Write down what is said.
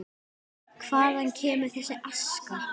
Hvaðan kemur þessi aska?